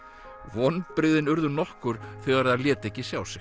vonbrigðin urðu nokkur þegar þær létu ekki sjá sig